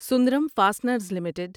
Sundaram fasteners limited